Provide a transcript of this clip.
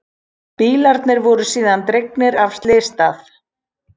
Bílarnir voru síðan dregnir af slysstað